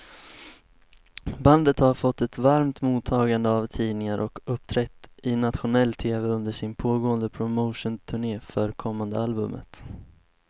Bandet har fått ett varmt mottagande av tidningar och uppträtt i nationell tv under sin pågående promotionturné för kommande albumet.